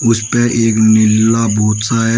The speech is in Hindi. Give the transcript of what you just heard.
उसपे एक नीला बहुत सा है।